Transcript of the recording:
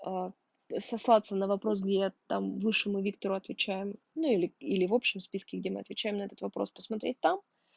аа сослаться на вопрос где я там высшему виктору отвечаю ну или или в общем списке где мы отвечаем на этот вопрос посмотреть там